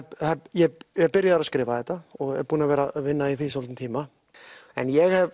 ég er byrjaður að skrifa þetta og er búinn að vera í vinna í því svolítinn tíma en ég